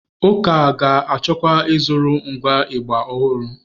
Ụka ga-achọkwa ịzụrụ ngwa ịgbà ọhụrụ.